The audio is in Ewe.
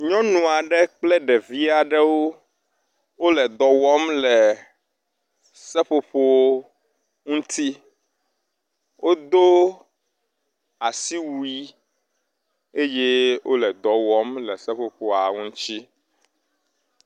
Nyɔnu aɖe kple ɖevi aɖewo wo le dɔ wɔm le seƒoƒo ŋuti. Wodo asiwui eye wo le dɔ wɔm le seƒoƒoa ŋuti.